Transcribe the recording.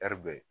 ɛri bɛ